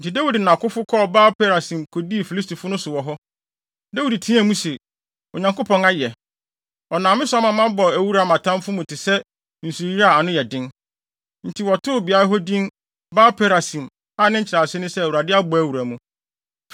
Enti Dawid ne nʼakofo kɔɔ Baal-Perasim kodii Filistifo no so wɔ hɔ. Dawid teɛɛ mu se, “Onyankopɔn ayɛ! Ɔnam me so ama mabɔ awura mʼatamfo mu te sɛ, nsuyiri a ano yɛ den.” Enti, wɔtoo beae hɔ din Baal-Perasim (a nkyerɛase ne sɛ “Awurade a ɔbɔ wura mu”).